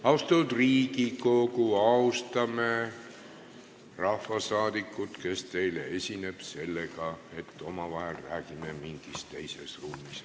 Austatud Riigikogu, austame rahvasaadikut, kes teile esineb, sellega, et omavahel räägime mingis teises ruumis.